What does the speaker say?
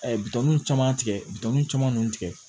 A ye bitɔnw caman tigɛ bitɔnniw caman tigɛ